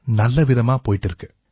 நல்லவிதமா போயிட்டு இருக்கு